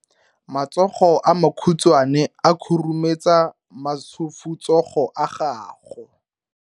Matsogo a makhutshwane a khurumetsa masufutsogo a gago.